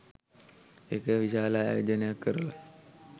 ඒක විශාල ආයෝජනයක් කරල